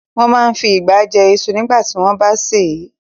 Wọ́n máa n fi ìgbá jẹ iṣu nígbàtí wọ́n bá sè é